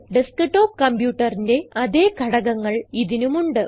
desktop computer ന്റെ അതേ ഘടകങ്ങൾ ഇതിനും ഉണ്ട്